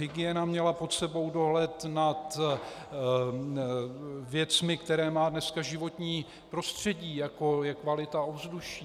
Hygiena měla pod sebou dohled na věcmi, které má dneska životní prostředí, jako je kvalita ovzduší.